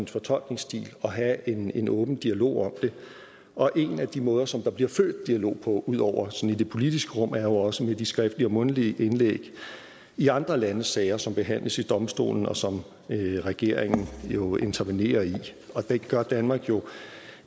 fortolkningsstil og have en en åben dialog om det og en af de måder som der bliver født dialog på udover sådan i det politiske rum er jo også via de skriftlige og mundtlige indlæg i andre landes sager som behandles ved domstolen og som regeringen jo intervenerer i det gør danmark jo